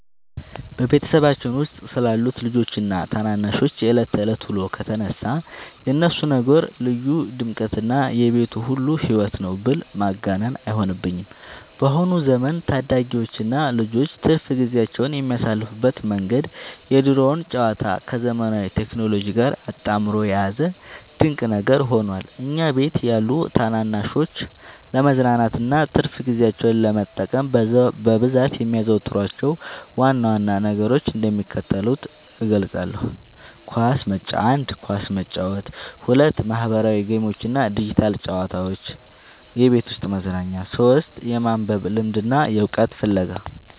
በቤተሰባችን ውስጥ ስላሉት ልጆችና ታናናሾች የዕለት ተዕለት ውሎ ከተነሳ፣ የእነሱ ነገር ልዩ ድምቀትና የቤቱ ሁሉ ሕይወት ነው ብል ማጋነን አይሆንብኝም። በአሁኑ ዘመን ታዳጊዎችና ልጆች ትርፍ ጊዜያቸውን የሚያሳልፉበት መንገድ የድሮውን ጨዋታ ከዘመናዊው ቴክኖሎጂ ጋር አጣምሮ የያዘ ድንቅ ነገር ሆኗል። እኛ ቤት ያሉ ታናናሾች ለመዝናናትና ትርፍ ጊዜያቸውን ለመጠቀም በብዛት የሚያዘወትሯቸውን ዋና ዋና ነገሮች እንደሚከተለው እገልጻለሁ፦ 1. ኳስ መጫወት 2. ማኅበራዊ ጌሞችና ዲጂታል ጨዋታዎች (የቤት ውስጥ መዝናኛ) 3. የማንበብ ልምድና የዕውቀት ፍለጋ